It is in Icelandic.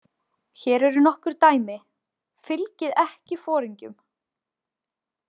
Hér eru nokkur dæmi: Fylgið ekki foringjum.